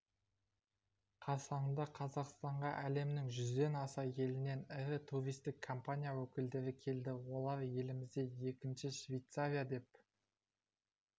қарсаңында қазақстанға әлемнің жүзден аса елінен ірі туристік компания өкілдері келді олар елімізді екінші швейцария деп